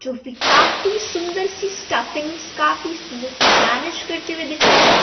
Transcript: जोकि काफी सुंदर सी स्टाफिंग्स काफी सुंदर सी गार्निश करते हुए दिख रहा है।